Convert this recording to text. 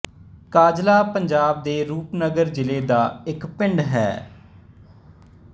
ਕਾਂਜਲਾ ਪੰਜਾਬ ਦੇ ਰੂਪਨਗਰ ਜਿਲ੍ਹੇ ਦਾ ਇੱਕ ਪਿੰਡ ਹੈ